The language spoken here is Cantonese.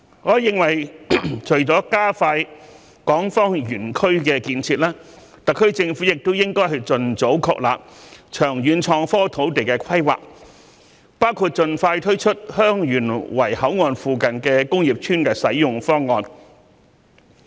我認為除了加快港方園區的建設，特區政府亦應盡早確立長遠創科土地的規劃，包括盡快推出香園圍口岸附近工業邨的使用方案。